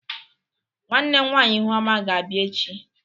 Nwanne nwaanyị Ihuoma ga-abia echi.